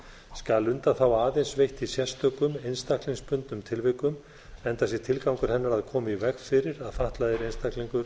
skal undanþága aðeins veitt í sérstökum einstaklingsbundnum tilvikum enda sé tilgangur hennar að koma í veg fyrir að fatlaður einstaklingur